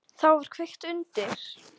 Þá var kveikt undir.